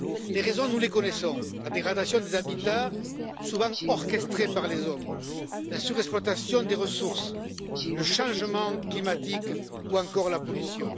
Les raisons, nous les connaissons la dégradation des habitats souvent orchestrée par les hommes, la surexploitation des ressources, le changement climatique ou encore la pollution.